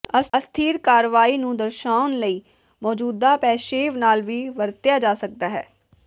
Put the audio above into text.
ਅਸਥਿਰ ਕਾਰਵਾਈ ਨੂੰ ਦਰਸਾਉਣ ਲਈ ਮੌਜੂਦਾ ਪੇਸ਼ੇਵ ਨਾਲ ਵੀ ਵਰਤਿਆ ਜਾ ਸਕਦਾ ਹੈ